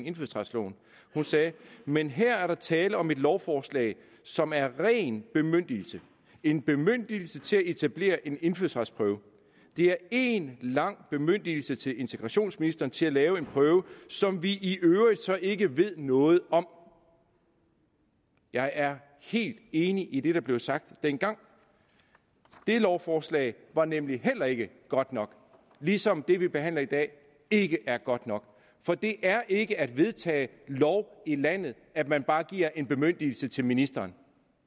indfødsretsloven hun sagde men her er der tale om et lovforslag som er ren bemyndigelse en bemyndigelse til at etablere en indfødsretsprøve det er én lang bemyndigelse til integrationsministeren til at lave en prøve som vi i øvrigt så ikke ved noget om jeg er helt enig i det der blev sagt dengang det lovforslag var nemlig heller ikke godt nok ligesom det vi behandler i dag ikke er godt nok for det er ikke at vedtage lov i landet at man bare giver en bemyndigelse til ministeren